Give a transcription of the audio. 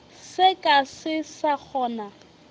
se ka se sa kgona